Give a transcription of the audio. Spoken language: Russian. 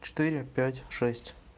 четыре пять шесть